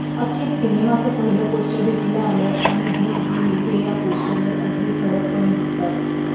अखेर सिनेमाचं पहिलं पोस्टर भेटीला आलंय आणि बिग बी हे या पोस्टरवर अगदी ठळकपणे दिसतात